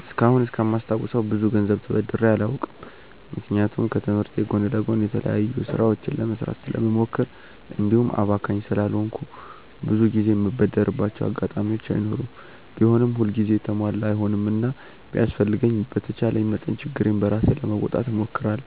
እስካሁን እስከማስታውሰው ብዙ ገንዘብ ተበድሬ አላውቅም። ምክንያቱም ከትምህርቴ ጎን ለጎን የተለያዩ ስራዎችን ለመስራት ስለምሞክር እንዲሁም አባካኝ ስላልሆንኩ ብዙ ጊዜ የምበደርባቸው አጋጣሚዎች አይኖሩም። ቢሆንም ሁል ጊዜ የተሟላ አይሆንምና ቢያስፈልገኝም በተቻለኝ መጠን ችግሬን ራሴ ለመወጣት እሞክራለሁ።